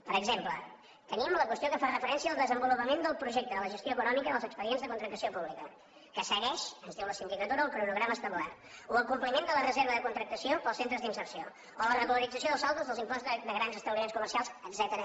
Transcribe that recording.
per exemple tenim la qüestió que fa referència al desenvolupament del projecte de la gestió econòmica dels expedients de contractació pública que segueix ens diu la sindicatura el cronograma establert o el compliment de la reserva de contractació per als centres d’inserció o la regularització dels saldos dels imposts de grans establiments comercials etcètera